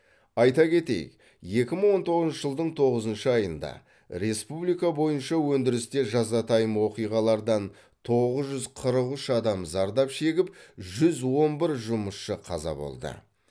айта кетейік екі мың он тоғызыншы жылдың тоғызыншы айында республика бойынша өндірісте жазатайым оқиғалардан тоғыз жүз қырық үш адам зардап шегіп жүз он бір жұмысшы қаза болды